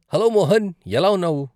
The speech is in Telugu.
హలో మోహన్ ఎలా ఉన్నావు?